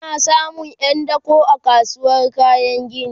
ana samun Yan dako a kasuwar kayan gini